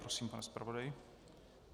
Prosím, pane zpravodaji.